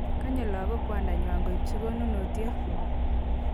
Konyei lakok kwandangwang koibu konunuot.